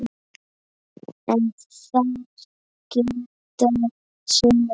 En þar gilda sömu reglur.